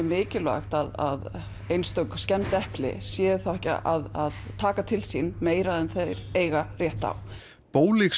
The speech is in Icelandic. mikilvægt að einstök skemmd epli séu ekki að taka til sín meira en þeir eiga rétt á